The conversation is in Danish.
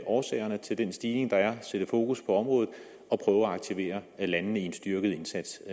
årsagerne til den stigning der er at sætte fokus på området og prøve at aktivere landene i en styrket indsats